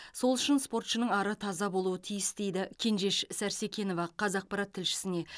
сол үшін спортшының ары таза болуы тиіс дейді кенжеш сәрсекенова қазақпарат тілшісіне